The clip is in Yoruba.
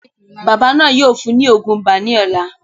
Bàbá náà yóò fún ùn ní òògùn ibà ní ọ̀la